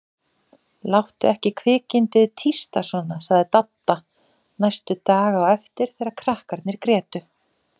Láttu ekki kvikindið tísta svona sagði Dadda næstu daga á eftir þegar krakkarnir grétu.